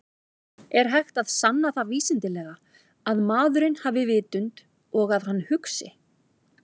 Er hægt að sanna það vísindalega að maðurinn hafi vitund og að hann hugsi?